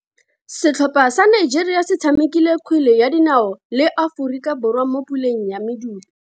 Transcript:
Setlhopha sa Nigeria se tshamekile kgwele ya dinao le Aforika Borwa mo puleng ya medu.